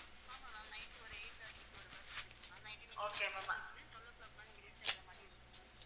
ஆமா ma'am night ஒரு eight thirty க்கு ஒரு bus இருக்கு ma'am, night நீங்க twelve o'clock எல்லாம் நீங்க reach ஆகற மாதிரி இருக்கும் ma'am